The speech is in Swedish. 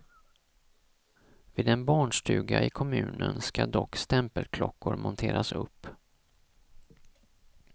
Vid en barnstuga i kommunen ska dock stämpelklockor monteras upp.